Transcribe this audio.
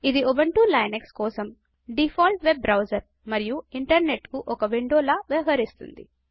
ఇది Ubuntu Linux కోసం default web browser మరియు ఇంటర్నెట్కు ఒక విండోల వ్యవహరిస్తోంది